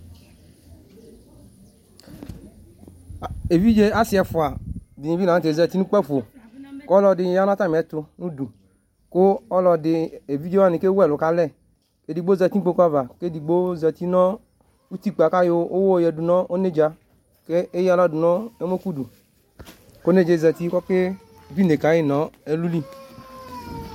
Evidze asi ɛfʋa ɖìŋíbi laŋtɛ zɛti ŋu kpafo ku alʋɛdìní bi yaŋu atamitu ŋuɖu Evidzewaŋi kewʋɛlu kalɛ Ɛɖigbo zɛti ŋu kpoku ava Ɛɖigbo zɛti ŋu utikpa ku ayɔ uwɔ yaɖuŋʋ ɔnedza ku ayɔ aɣla yanu ɛmɔkʋɖu Ɔnedzaɛ zɛti ku ɔkaɖʋ ine kayi ŋu ɛluli